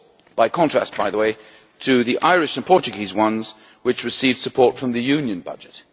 in contrast, by the way, to the Irish and Portuguese ones, which received support from the Union budget.